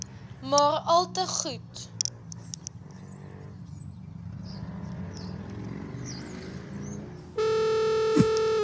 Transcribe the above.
maar alte goed